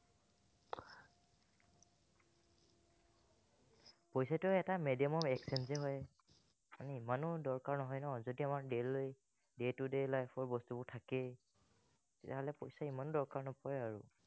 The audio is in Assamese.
পইচাটো এটা medium of exchange হে হয়। মানে ইমানো দৰকাৰ নহয় ন যেতিয়া আমাৰ daily day to day life ৰ বস্তুবোৰ থাকেই, তেতিয়াহলে পইচা ইমান দৰকাৰ নপৰে আৰু